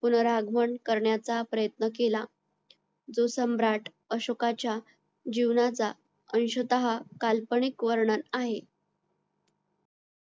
पुनरा आगमन करण्याचा प्रयत्न केला जो सम्राट अशोकाच्या जीवनाचा अंशतः काल्पनिक वर्णन आहे